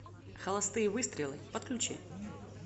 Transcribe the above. холостые выстрелы подключи